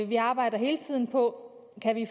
vi arbejder hele tiden på at vi